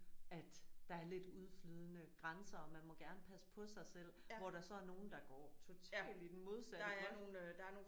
At der er lidt udflydende grænser og man må gerne passe på sig selv hvor der så er nogle der går totalt i den modsatte grøft